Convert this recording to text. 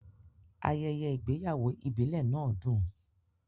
Ayẹyẹ ìgbéyàwó ìbílẹ̀ náà dùn.